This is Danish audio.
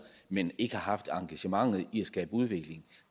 men ikke har haft engagementet i at skabe udvikling